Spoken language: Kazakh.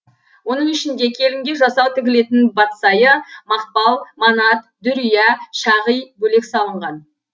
оның ішінде келінге жасау тігілетін батсайы мақпал манат дүрия шағи бөлек салынған